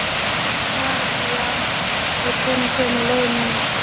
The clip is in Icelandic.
Valíant, hvenær kemur leið númer sjö?